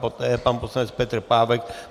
Poté pan poslanec Petr Pávek.